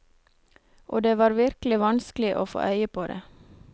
Og det var virkelig vanskelig å få øye på det.